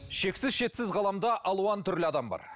шексіз шетсіз ғаламда алуан түрлі адам бар